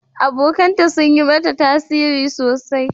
Abokanta sun yi mata tasiri sosai.